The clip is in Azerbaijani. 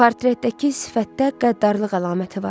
Portretdəki sifətdə qəddarlıq əlaməti var.